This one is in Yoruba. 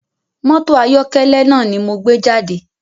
Mọ́tò ayọ̀kẹ́lẹ́ náà ni mo gbé jáde